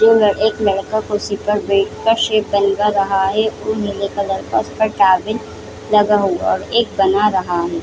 दो लड़ एक लड़का कुर्सी पर बैठकर शैप बनवा रहा है और वो नीले कलर का उसका टावेल लगा हुआ हैं और एक बना रहा हैं।